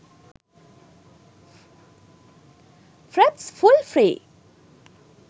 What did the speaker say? fraps full free